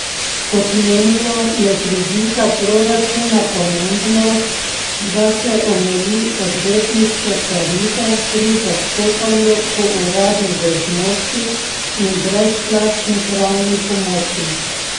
Kot menijo, je z vidika proračuna pomembno, da se omeji odvetniške tarife pri zastopanju po uradni dolžnosti in brezplačni pravni pomoči.